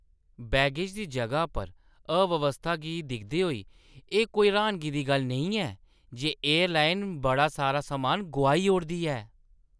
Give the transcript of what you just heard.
Baggage दी जगह पर अव्यवस्था गी दिखदे होई, एह् कोई र्‌हानगी दी गल्ल नेईं ऐ जे एयरलाइन बड़ा सारा समान गोआई ओड़दी ऐ।